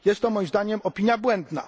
Jest to moim zdaniem opinia błędna.